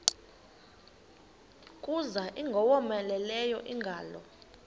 kuza ingowomeleleyo ingalo